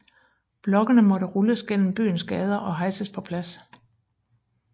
Blokkene måtte rulles gennem byens gader og hejses på plads